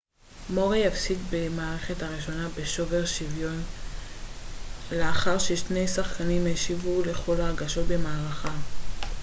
מוריי הפסיד במערכה הראשונה בשובר שוויון לאחר ששני השחקנים השיבו לכל ההגשות במערכה